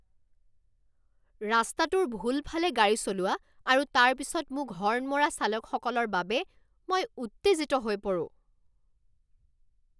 ৰাস্তাটোৰ ভুল ফালে গাড়ী চলোৱা আৰু তাৰ পিছত মোক হৰ্ণ মৰা চালকসকলৰ বাবে মই উত্তেজিত হৈ পৰোঁ।